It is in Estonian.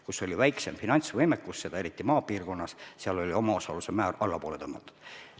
Kus oli väiksem finantsvõimekus, eriti maapiirkonnas, seal oli omaosaluse määr allapoole tõmmatud.